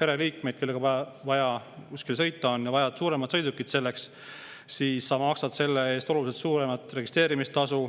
pereliikme, kellega on vaja kuskile sõita, siis on vaja suuremat sõidukit ja sa maksad selle eest oluliselt suuremat registreerimistasu.